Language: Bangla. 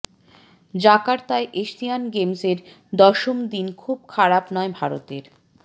জাকার্তায় এশিয়ান গেমসের দশম দিন খুব খারাপ নয় ভারতের